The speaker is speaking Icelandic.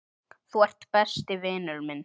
Þú ert besti vinur minn.